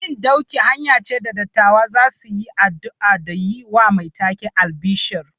Yin dauki hanya ce da dattawa za su yi addu’a da yi wa mai take albishir.